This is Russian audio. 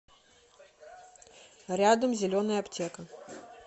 рядом зеленая аптека